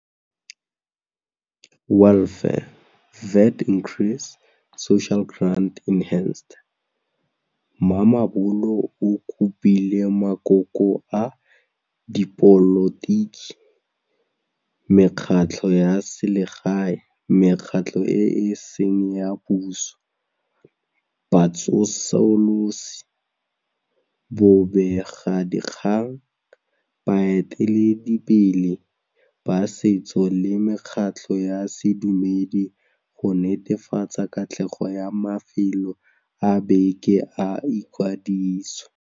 Mamabolo o kopile makoko a dipolotiki, mekgatlho ya selegae, mekgatlho e e seng ya puso, batsosolosi, bobegadikgang, baeteledipele ba setso le mekgatlho ya sedumedi go netefatsa katlego ya mafelo a beke a ikwadiso.